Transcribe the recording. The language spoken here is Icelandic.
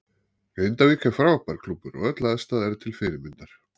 Grindavík er frábær klúbbur og öll aðstaða er til fyrirmyndar.